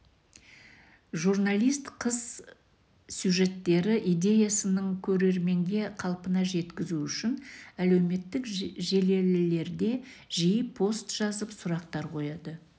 журналист қыз сюжеттері идеясыынң көрерменге қалпына жеткізу үшін әлеуметтік желілерде жиі пост жазып сұрақтар қояды